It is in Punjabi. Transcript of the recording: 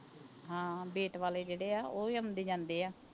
ਹਾਂ ਬੇਟ ਵਾਲੇ ਜਿਹੜੇ ਆ ਉਹ ਵੀ ਆਉਂਦੇ ਜਾਂਦੇ ਆ।